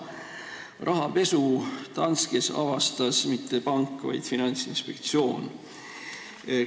Rahapesu Danskes ei avastanud mitte pank, vaid Finantsinspektsioon.